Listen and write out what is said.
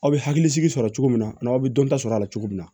Aw bɛ hakili sigi sɔrɔ cogo min na n'aw bɛ dɔnta sɔrɔ a la cogo min na